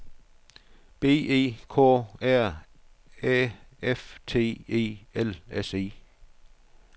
B E K R Æ F T E L S E